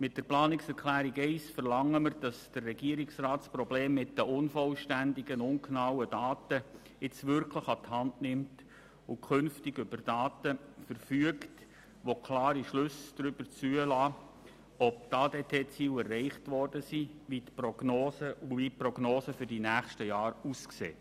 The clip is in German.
Mit der Planungserklärung 1 verlangen wir, dass der Regierungsrat das Problem mit den unvollständigen und ungenauen Daten nun wirklich an die Hand nimmt und künftig über Daten verfügt, die klare Schlüsse darüber zulassen, ob die ADT-Ziele erreicht wurden und wie die Prognosen für die nächsten Jahre aussehen.